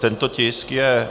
Tento tisk je...